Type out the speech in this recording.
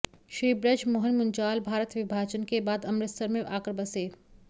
श्री बृज मोहन मुंजाल भारत विभाजन के बाद अमृतसर में अाकर बसे